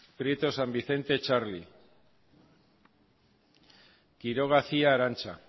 prieto san vicente txarli quiroga cia arantza